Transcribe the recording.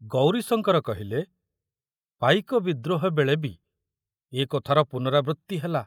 ଗୌରୀଶଙ୍କର କହିଲେ, ପାଇକ ବିଦ୍ରୋହବେଳେ ବି ଏ କଥାର ପୁନରାବୃତ୍ତି ହେଲା।